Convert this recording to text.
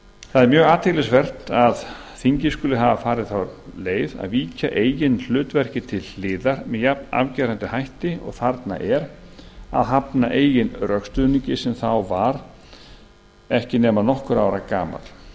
mjög athyglisvert að þingið skuli hafa farið þá leið að víkja eigin hlutverki til hliðar með jafnafgerandi hætti og þarna er að hafna eigin rökstuðningi sem þá var ekki nema nokkurra ára gamall